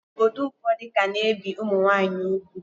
Obodo ụfọdụ ka na-ebi ụmụnwaanyị ugwu